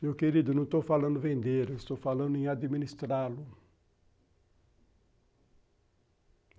Meu querido, não estou falando em vender, estou falando em administrá-lo.